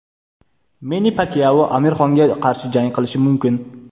Menni Pakyao Amir Xonga qarshi jang qilishi mumkin.